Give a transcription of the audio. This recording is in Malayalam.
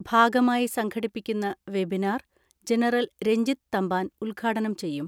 ഭാഗമായി സംഘടിപ്പിക്കുന്ന വെബിനാർ ജനറൽ രഞ്ജിത് തമ്പാൻ ഉദ്ഘാടനം ചെയ്യും.